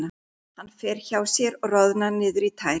Hann fer hjá sér og roðnar niður í tær.